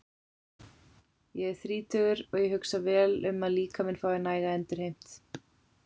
Ég er þrítugur og ég hugsa vel um að líkaminn fái næga endurheimt.